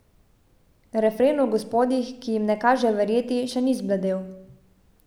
Refren o gospodih, ki jim ne kaže verjeti, še ni zbledel.